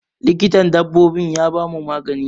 Likitan dabbobin ya bamu magani.